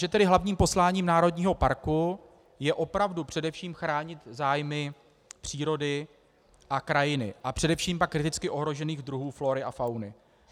Že tedy hlavním posláním národního parku je opravdu především chránit zájmy přírody a krajiny a především pak kriticky ohrožených druhů flóry a fauny.